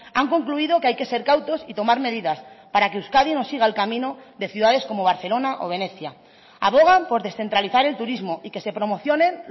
han concluido que hay que ser cautos y tomar medidas para que euskadi no siga el camino de ciudades como barcelona o venecia abogan por descentralizar el turismo y que se promocionen